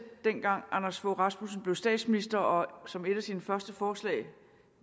dengang anders fogh rasmussen blev statsminister og som et af sine første forslag